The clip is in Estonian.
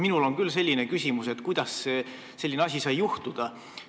Minul on küll küsimus, kuidas selline asi sai juhtuda.